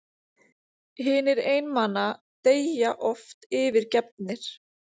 Hinir einmana deyja oft yfirgefnir.